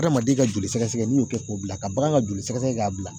Adamaden ka joli sɛgɛsɛgɛ n'i y'o kɛ k'o bila ka bagan ka joli sɛgɛsɛgɛ k'a bila